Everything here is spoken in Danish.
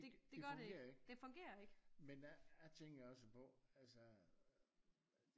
Det fungerer ikke men der tænkte jeg også på altså